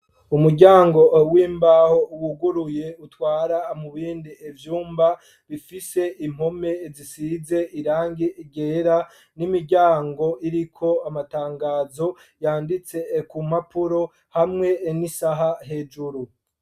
Umuryango w'imbaho, wuguruye, utwara mu bindi vyumba, bifise impome zisize irangi ryera; n'imiryango iriko amatangazo, yanditse ku mpapuro, hamwe n'isaha hejuru.